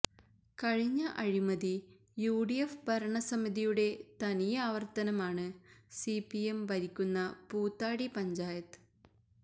കഴിഞ്ഞ അഴിമതി യുഡിഎഫ് ഭരണസമിതിയുടെ തനിയാവര്ത്തനമാണ് സിപിഎം ഭരിക്കുന്ന പൂതാടി പഞ്ചായത്ത്